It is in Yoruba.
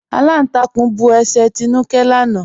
Alántàkún bú ẹ̀ṣẹ́ Tínúkẹ̀ lànà.